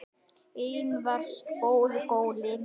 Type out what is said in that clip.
Einna verst voru gólin.